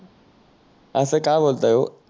आस काय बोलताय ओ